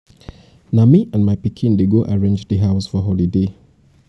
na me and my pikin dey go arrange di house for holiday.